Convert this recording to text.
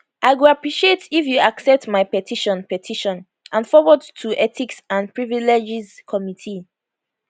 i go appreciate if you accept my petition petition and forward to ethics and privileges committee